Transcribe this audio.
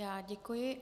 Já děkuji.